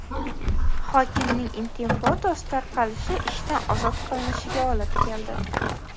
Hokimning intim fotosi tarqalishi ishdan ozod qilinishiga olib keldi.